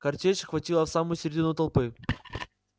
картечь хватила в самую средину толпы